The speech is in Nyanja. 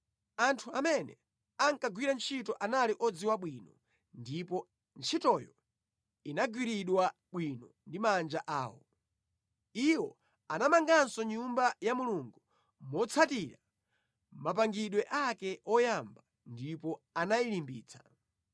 Anthu amene ankagwira ntchito anali odziwa bwino, ndipo ntchitoyo inagwiridwa bwino ndi manja awo. Iwo anamanganso Nyumba ya Mulungu motsatira mapangidwe ake oyamba ndipo anayilimbitsa.